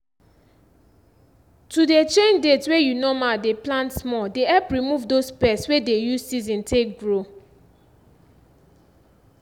to dey change date wey you normall dey plant small dey help remove dose pest wey dey use season take grow